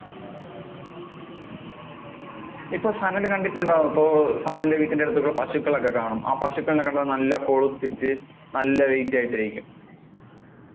ഇപ്പൊ സനല് കണ്ടിട്ടുണ്ടോ, ഇപ്പൊ അഹ് സനലിന്‍ടെ വീടിന്‍ടെ അടുത്ത് ഈ പശുക്കൾ ഒക്കെ കാണും, ആ പശുക്കളെ കാണാൻ നല്ല കൊഴുത്തിട്ട് നല്ല weight ആയിട്ട് ഇരിക്കും. അതൊ